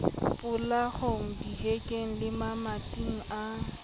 polakwang dihekeng le mamating a